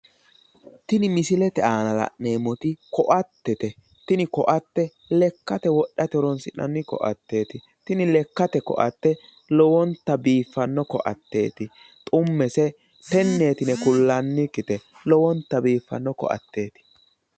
tini misilete aana la'neemmoti koattete tini koatte lekkate wodhate horonsi'nanni koateeti tini lekkete koatte lowonta biiffanno koatteeti xummese tenneeti yine kullannikkite lowonta biiffanno koatteeti.